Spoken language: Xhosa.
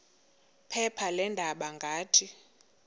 phepha leendaba ngathi